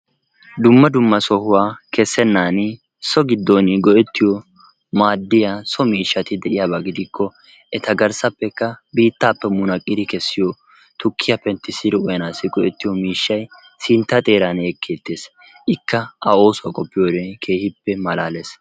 Dumma dumma sohuwa kessenan so giddon go''ettiyo maadiya so miishshati de'iyaaba gidikko eta garssappekka biittappe munaqqidi kessiyo tukkiya penttissidi uyyanassi go''ettiyo miishshay sinttaa xeeran ekkeettees, ikka a oosuwaa qopiyoode keehippe malaalees.